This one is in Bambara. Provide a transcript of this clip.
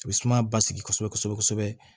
U bɛ sumaya basigi kosɛbɛ kosɛbɛ kosɛbɛ